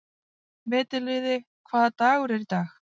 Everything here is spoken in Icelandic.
Veturliði, hvaða dagur er í dag?